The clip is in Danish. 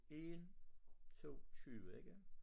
1 2 20 ikke